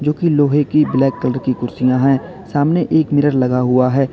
लोहे की black colour की कुर्सियां है सामने एक मिरर लगा हुआ है।